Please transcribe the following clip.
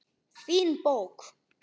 Fín bók.